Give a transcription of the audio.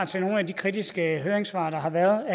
til nogle af de kritiske høringssvar der har været